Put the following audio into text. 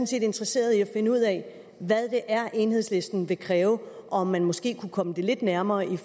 set interesseret i at finde ud af hvad det er enhedslisten vil kræve og om man måske kunne komme det lidt nærmere er